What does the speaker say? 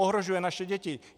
Ohrožuje naše děti!